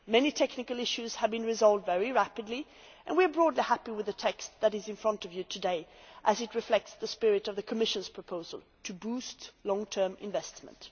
Many technical issues have been resolved very rapidly and we are broadly happy with the text that is in front of you today as it reflects the spirit of the Commission's proposal to boost long term investment.